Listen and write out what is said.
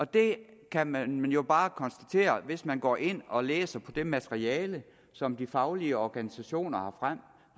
det kan man jo bare konstatere hvis man går ind og læser det materiale som de faglige organisationer